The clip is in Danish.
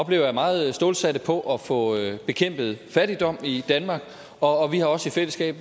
vi er meget stålsatte på at få bekæmpet fattigdom i danmark og vi har også i fællesskab